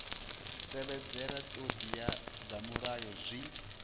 tevhedzela ṱhoḓea dza mulayo zwi